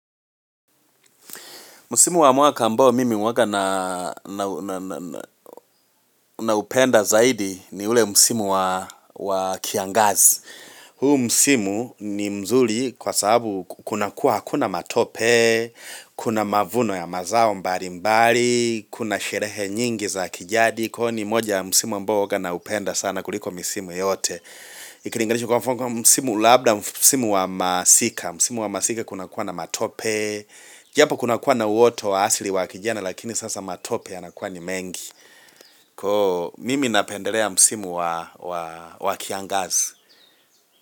Msimu wa mwaka ambao mimi mwaka naupenda zaidi ni ule msimu wa kiangazi. Huu msimu ni mzuri kwa sababu kunakuwa hakuna matope, kuna mavuno ya mazao mbalimbali, kuna sherehe nyingi za kijadi. Kwaio ni moja ya msimu ambao huwaga naupenda sana kuliko misimu yote. Ikilinganishwa kwa mfano msimu labda, msimu wa masika. Msimu wa masika kunakuwa na matope. Japo kunakuwa na uoto wa asili wa kijana lakini sasa matope yanakua ni mengi Koo mimi napendelea msimu wa kiangazi.